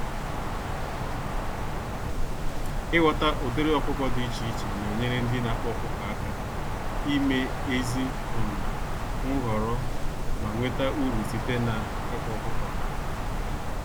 Ighọta ụdịrị ọkụkọ dị iche iche nenyere ndị n'akpa ọkụkọ àkà ime ezi um nhọrọ, ma nweta uru site n'ịkpa ọkụkọ ha